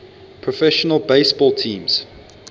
professional baseball teams